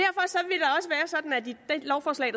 lovforslag